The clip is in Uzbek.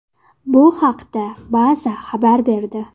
Bu haqda Baza xabar berdi .